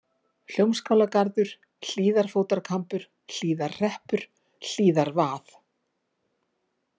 Hljómskálagarður, Hlíðarfótarkambur, Hlíðarhreppur, Hlíðarvað